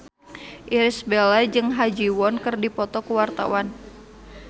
Irish Bella jeung Ha Ji Won keur dipoto ku wartawan